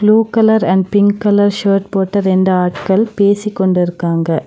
Blue colour and pink colour shirt போட்ட ரெண்டு ஆட்கள் பேசிக் கொண்டுருக்காங்க.